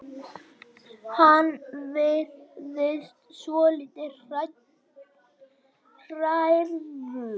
Hann virðist svolítið hrærður.